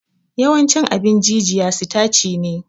Yawancin abin jijiya sitaci ne